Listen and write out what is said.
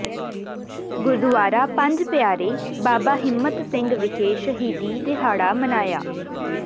ਗੁਰਦੁਆਰਾ ਪੰਜ ਪਿਆਰੇ ਬਾਬਾ ਹਿੰਮਤ ਸਿੰਘ ਵਿਖੇ ਸ਼ਹੀਦੀ ਦਿਹਾੜਾ ਮਨਾਇਆ